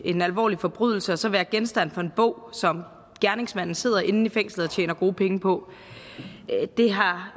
en alvorlig forbrydelse og så være genstand for en bog som gerningsmanden sidder inde i fængslet og tjener gode penge på det har